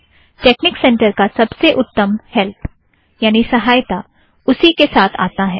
technique center का सबसे उत्तम हैल्प या सहायता उसी के साथ आता है